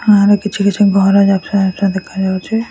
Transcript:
ଆର କିଛି କିଛି ଘର ଲେଫ୍ଟ ହାଣ୍ଡ ରେ ଦେଖା ଯାଉଛି।